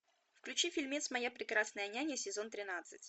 включи фильмец моя прекрасная няня сезон тринадцать